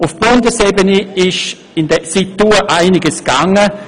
Auf Bundesebene ist seither einiges geschehen.